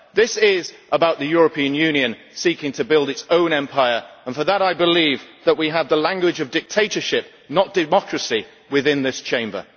This is about the European Union seeking to build its own empire. For that I believe that we have the language of dictatorship, not democracy, within this Chamber.